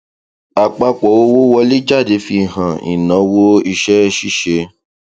àpapọ owó wọléjáde fi hàn ináwó iṣẹṣíṣe